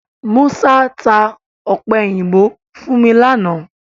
Musa tá ọ̀pẹ̀yìnbo fún mi láánaà